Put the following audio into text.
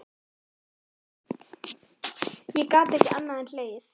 Ég gat ekki annað en hlegið.